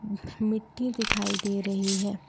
मिट्टी दिखाई दे रही है।